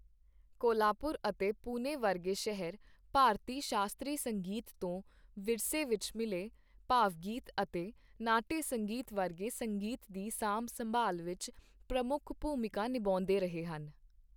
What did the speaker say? ਕੋਲਹਾਪੁਰ ਅਤੇ ਪੂਨੇ ਵਰਗੇ ਸ਼ਹਿਰ ਭਾਰਤੀ ਸ਼ਾਸਤਰੀ ਸੰਗੀਤ ਤੋਂ ਵਿਰਸੇ ਵਿੱਚ ਮਿਲੇ ਭਾਵਗੀਤ ਅਤੇ ਨਾਟਯ ਸੰਗੀਤ ਵਰਗੇ ਸੰਗੀਤ ਦੀ ਸਾਂਭ ਸੰਭਾਲ ਵਿੱਚ ਪ੍ਰਮੁੱਖ ਭੂਮਿਕਾ ਨਿਭਾਉਂਦੇ ਰਹੇ ਹਨ।